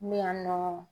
Min y'an nɔgɔ